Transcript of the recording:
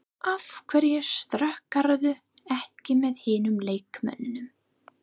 Af hverju skokkarðu ekki með hinum leikmönnunum?